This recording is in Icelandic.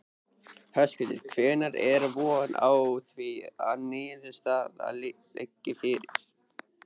Höskuldur: Hvenær er von á því að niðurstaða liggi fyrir?